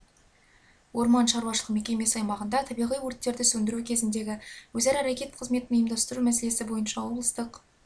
орман шаруашылық мекемесі аймағында табиғи өрттерді сөндіру кезіндегі өзара әрекет қызметін ұйымдастыру мәселесі бойынша облыстық